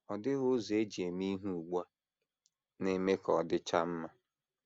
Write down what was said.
Ọ dịghị ụzọ e ji eme ihe ugbu a na - eme ka ọ dịchaa mma.